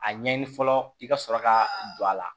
A ɲɛɲini fɔlɔ i ka sɔrɔ ka don a la